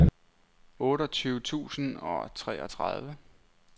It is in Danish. otteogtyve tusind og treogtredive